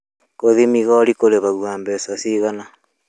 Gũthiĩ migori kũrĩhagio mbeca cigana